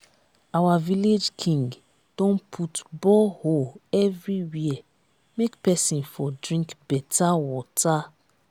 our village king don put borehole everywhere make pesin for drink beta water.